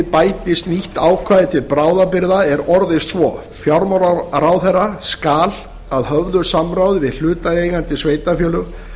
bætist nýtt ákvæði til bráðabirgða er orðist svo fjármálaráðherra skal að höfðu samráði við hlutaðeigandi sveitarfélög